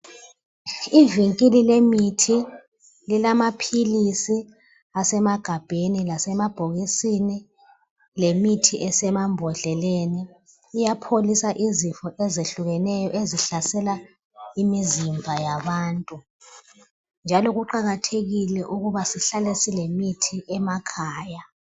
ivinkili lemithililamaphilisi asemagabheni lasemabhokisini lemithi esemambhodleleni iyapholisa izifo eziyehlukeneyo ezihlasela imizimba yabantu njalo kuqhakathekile ukuba sihlale silemithi emakhaya